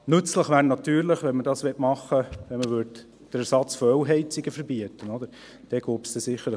Wenn man dies machen wollte, wäre es natürlich nützlich, wenn man den Ersatz von Ölheizungen verbieten würde.